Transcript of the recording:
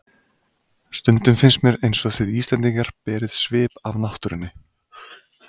Stundum finnst mér einsog þið Íslendingar berið svip af náttúrunni.